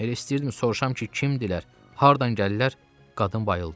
Elə istəyirdim soruşam ki, kimdirlər, hardan gəlirlər, qadın bayıldı.